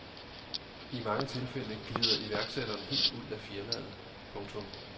I mange tilfælde glider iværksætteren helt ud af firmaet. punktum